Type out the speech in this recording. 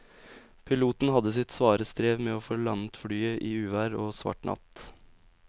Piloten hadde sitt svare strev med å få landet flyet i uvær og svart natt.